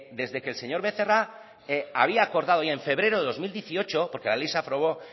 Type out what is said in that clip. desde que el señor becerra había acordado ya en febrero de dos mil dieciocho porque la ley se aprobó